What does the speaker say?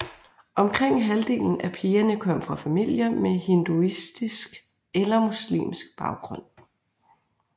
Omkring halvdelen af pigerne kom fra familier med hinduistisk eller muslimsk baggrund